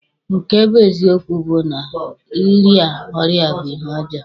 Nke bụ eziokwu bụ na ịrịa ọrịa bụ ihe ọjọọ.